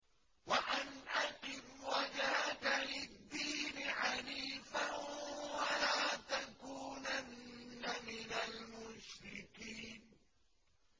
وَأَنْ أَقِمْ وَجْهَكَ لِلدِّينِ حَنِيفًا وَلَا تَكُونَنَّ مِنَ الْمُشْرِكِينَ